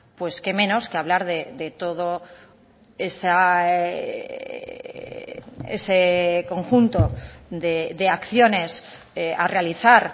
pues qué menos que hablar de todo ese conjunto de acciones a realizar